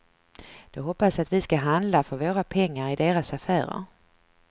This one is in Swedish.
De hoppas att vi ska handla för våra pengar i deras affärer.